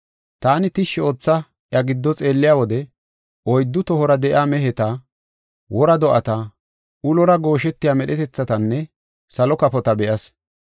Taani tishshi ootha iya giddo xeelliya wode oyddu tohora de7iya meheta, wora do7ata, ulora gooshetiya medhetethatanne salo kafota be7as.